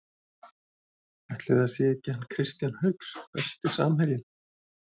Ætli það sé ekki hann Kristján Hauks Besti samherjinn?